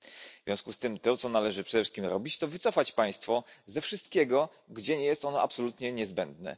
W związku z tym to, co należy przede wszystkim robić, to wycofać państwo ze wszystkiego, gdzie nie jest ono absolutnie niezbędne.